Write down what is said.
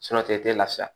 tigɛ tɛ lafiya